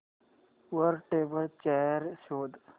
वर table chair शोध